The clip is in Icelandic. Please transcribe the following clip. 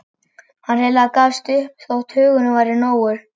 Hann hreinlega gafst upp þótt hugurinn væri nógur.